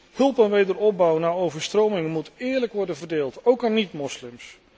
De hulp voor wederopbouw na overstromingen moet eerlijk worden verdeeld, ook aan niet moslims.